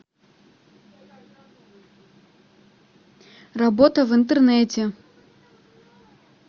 работа в интернете